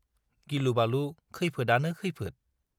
गिलुबालु खैफोदआनो खैफोद।